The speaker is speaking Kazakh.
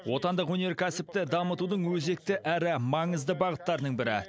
отандық өнеркәсіпті дамытудың өзекті әрі маңызды бағыттарының бірі